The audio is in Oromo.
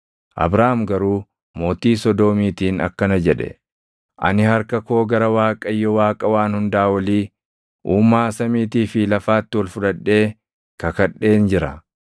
Abraam garuu mootii Sodoomiitiin akkana jedhe; “Ani harka koo gara Waaqayyo, Waaqa Waan Hundaa Olii, Uumaa samiitii fi lafaatti ol fudhadhee kakadheen jira;